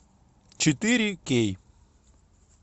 четыре кей